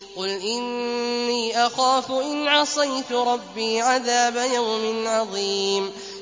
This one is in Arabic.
قُلْ إِنِّي أَخَافُ إِنْ عَصَيْتُ رَبِّي عَذَابَ يَوْمٍ عَظِيمٍ